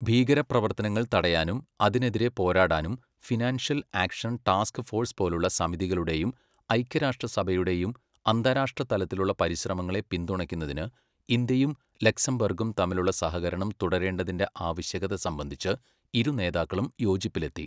ഭീകര പ്രവർത്തനങ്ങൾ തടയാനും അതിനെതിരെ പോരാടാനും ഫിനാൻഷ്യൽ ആക്ഷൻ ടാസ്ക് ഫോഴ്സ് പോലുള്ള സമിതികളുടെയും ഐക്യരാഷ്ട്ര സഭയുടെയും അന്താരാഷ്ട്ര തലത്തിലുള്ള പരിശ്രമങ്ങളെ പിന്തുണയ്ക്കുന്നതിന് ഇന്തൃയും ലക്സംബർഗും തമ്മിലുള്ള സഹകരണം തുടരേണ്ടതിന്റെ ആവശ്യകത സംബന്ധിച്ച് ഇരു നേതാക്കളും യോജിപ്പിലെത്തി.